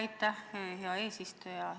Aitäh, hea eesistuja!